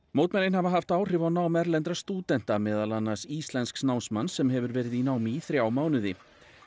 mótmælin hafa haft áhrif á nám erlendra stúdenta meðal annars íslensks námsmanns sem hefur verið í námi í þrjá mánuði